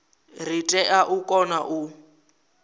ri tea u kona u